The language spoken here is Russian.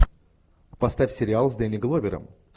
поставь сериал с дэнни гловером